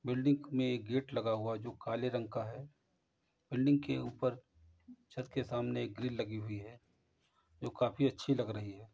Building में एक gate लगा हुआ है जो काले रंग का है। बिल्डिंग के ऊपर छत के सामने एक ग्रिल लगी हुई है जो काफी अच्छी लग रही है।